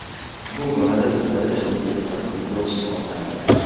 Bu borada u birinchi o‘zbekistonlik futbolchi hisoblanadi.